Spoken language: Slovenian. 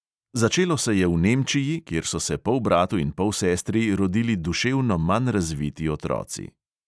Začelo se je v nemčiji, kjer so se polbratu in polsestri rodili duševno manj razviti otroci.